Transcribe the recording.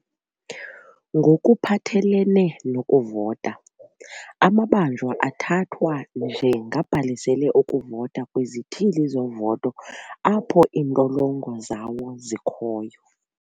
"Ngokuphathelene nokuvota, amabanjwa athathwa njengabhalisele ukuvota kwizithili zovoto apho iintolongo zawo zikhoyo."